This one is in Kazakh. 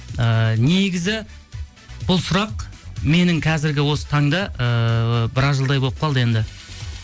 ыыы негізі бұл сұрақ менің қазіргі осы таңда ыыы біраз жылдай болып қалды енді